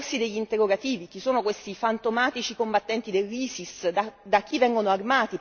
Anche qui però è bene porsi degli interrogativi chi sono questi fantomatici combattenti dell'Isis?